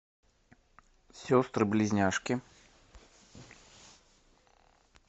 сестры близняшки